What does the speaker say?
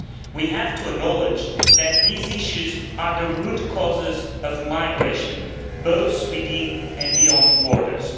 We have to acknowledge that these issues are the root causes of migration, both within and beyond borders.